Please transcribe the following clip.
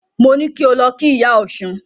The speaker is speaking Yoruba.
Mo ní kí o lọ kí Ìyá Ọ̀ṣun.